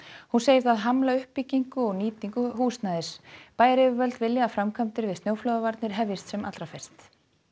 hún segir það hamla uppbyggingu og nýtingu húsnæðis bæjaryfirvöld vilja að framkvæmdir við snjóflóðavarnir hefjist sem fyrst